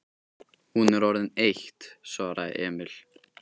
Hún er orðin eitt, svaraði Emil.